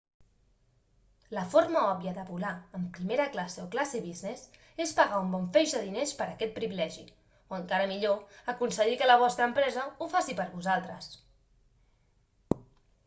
la forma òbvia de volar en primera classe o classe business és pagar un bon feix de diners per aquest privilegi o encara millor aconseguir que la vostra empresa ho faci per vosaltres